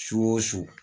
Su o su